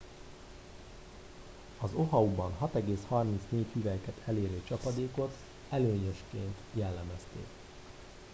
"az oahuban 6,34 hüvelyket elérő csapadékot "előnyösként" jellemezték.